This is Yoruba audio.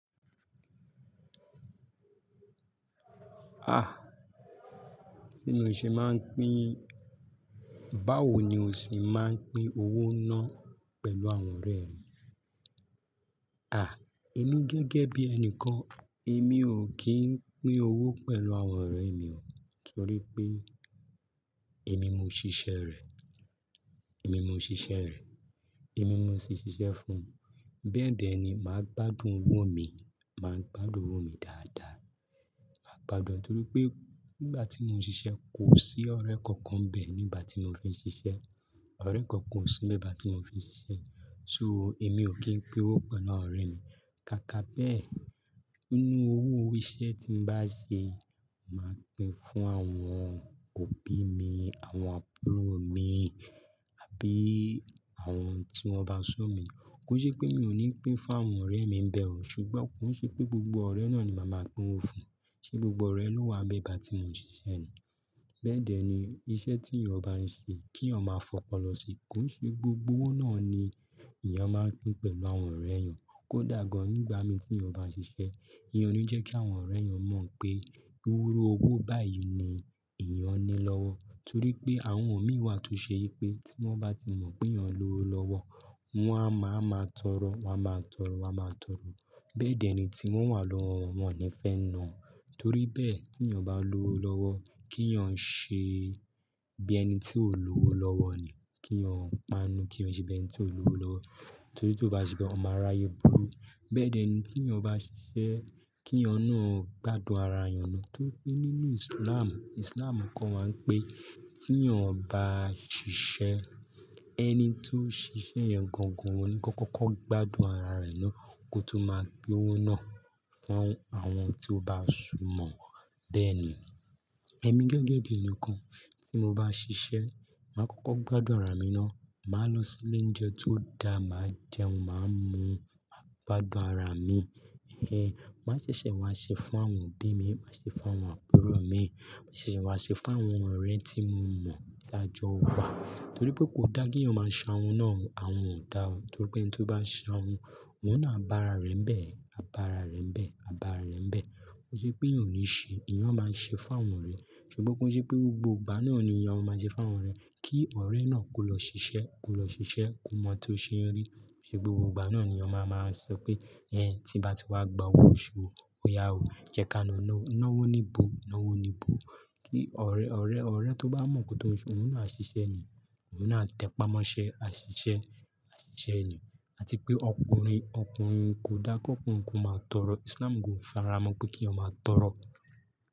Ah! Tí n o ṣe máa ń pín, báwo ni o ṣe máa ń pín owó náà pẹ̀lú àwọn ọ̀rẹ́ rẹ? À, èmi gẹ́gẹ́ bí ẹni kan, èmi ò kí ń pín owó pẹ̀lú àwọn ọ̀rẹ́ mi o. Torí pé èmi mo ṣiṣẹ́ rẹ̀, èmi mo ṣiṣẹ́ rẹ̀, èmi mo sì ṣiṣẹ́ fún un. Bẹ́ẹ̀dẹ́ ni màá gbádùn owó mi, màá gbádùn owó mi dáadáa. Màá gbádùn ọ́ torí pé nígbà tí mo ń ṣiṣẹ́ kò sí ọ̀rẹ́ kankan n bẹ́ẹ̀ nígbà tí mo fi ń ṣiṣẹ́. Ọ̀rẹ́ kankan kò sí nígbà tí mo fi ń ṣiṣẹ́. So èmi ò kí ń pín owó pẹ̀lú àwọn ọ̀rẹ́ mi. Kàkà bẹ́ẹ̀, nínú owó ori iṣẹ́ tí n bá ṣe, màá pín fún àwọn òbí mi, àwọn àbúrò mi àbí àwọn tí wọ́n bá ṣọ mí. Ki i ṣe pé mi ò ní pín fún àwọn ọ̀rẹ́ mi bẹ́ẹ̀ o. Ṣùgbọ́n ki i ṣe pé gbogbo ọ̀rẹ́ náà ni màá máa pín owó fún. Ṣe gbogbo ọ̀rẹ́ ló wà nígbà tí mo ń ṣiṣẹ́ ni? Bẹ́ẹ̀ dẹ́ ni iṣẹ́ tí èèyàn bá ń ṣe kí èèyàn máa fọkọlọ sí i. Kò i ṣe gbogbo owó náà ni èèyàn máa n pín pẹ̀lú àwọn ọ̀rẹ́ èèyàn. Kódà gan nígbà mì tí mi o bá ṣiṣẹ́, mi ò ní jẹ́ kí àwọn ọ̀rẹ́ mi mọ̀ pé irú owó báyìí ni èèyàn ní lọ́wọ́. Torí pé àwọn imí wà tó ṣe wi pé tí wọ́n bá ti mọ̀ pé èèyàn ló owó lọ́wọ́, wọn a máa ma tọrọ, wọn a máa tọrọ, wọn a máa tọrọ. Bẹ́ẹ̀ dẹ́ ni tí wọ́n wà lọ́wọ́ wọn, won o ni fẹ́ na wọ́n. Torí bẹ́ẹ̀ kí èèyàn bá ní owó lọ́wọ́, kí èèyàn ṣe bí ẹni tí ó lò ó lọ́wọ́ ni. Kí èèyàn panu, kí èèyàn ṣe bí ẹni tí ò ló owó lọ́wọ́. Torí tí kó bá ṣe bẹ́ẹ̀, ó máa aráaye burú. Bẹ́ẹ̀ dẹ́ ni tí èèyàn bá ṣiṣẹ́, kí eeyan naa gbádùn ara eeyan ni. Torí pé nínú Islam, Islam kọ́ wa wi pé tí èèyàn bá ṣiṣẹ́, ẹni tó ṣiṣẹ́ yẹn gangan ò ní kó kọ́kọ́ gbádùn ara rẹ̀ náà kó tó máa pín owó náà fún àwọn tí ó bá sùnmọ̀ ọ́ bẹ́ẹ̀ ni. Ẹ̀mí gẹ́gẹ́ bí ẹni kan tí mo bá ṣiṣẹ́, màá kọ́kọ́ gbádùn ara mi náà. Màá lọ sí ilé-ounjẹ tó da, màá jẹun, màá mu, màá gbádùn ara mi. Ẹ̀hẹn, màá ṣẹ̀ṣẹ̀ wá ṣe fún àwọn òbí mi, màá ṣe fún àwọn àbúrò mi, màá ṣẹ̀ṣẹ̀ wá ṣe fún àwọn ọ̀rẹ́ tí mo mọ̀ taájọ wa. Torí pé kò dáa kí èèyàn máa ṣahun náà o, àhun ò dá o. Torí pé ẹni tó bá n sahun, òun náà á bá ara rẹ̀ ń bẹ́ẹ̀, á bá ara rẹ̀ ń bẹ́ẹ̀, á bá ara rẹ̀ ń bẹ́ẹ̀. Ki i ṣe pé eeyan ò ní ṣe, eeyan máa ń ṣe fún àwọn ọ̀rẹ́. Ṣùgbọ́n kò ṣe pé gbogbo ìgbà náà ni èèyàn máa ń ṣe fún àwọn ọ̀rẹ́. Kí ọ̀rẹ́ náà kó lọ ṣiṣẹ́, kó lọ ṣiṣẹ́, kó mọ́ tó ṣe n rí. Ki i ṣe gbogbo ìgbà náà ni èèyàn máa máa sọ pé, "Ẹ̀hẹn, tí n bá ti wá gba owó osu ó ya o. Jẹ́ ká nawọ́, nawó níbo, nawó nibo." Kí ọ̀rẹ́, ọ̀rẹ́, ọ̀rẹ́ tó bá mọ̀ kó tó ń ṣe, òun náà ṣiṣẹ́ ni, òun náà tẹpamọ́ ṣe, a ṣiṣẹ́, a ṣiṣẹ́ ni. Àti pé ọkùnrin, ọkùnrin kò dára kó ọkùnrin kó máa tọrọ. Islam gan o fara mọ́ pé kí èèyàn máa tọrọ.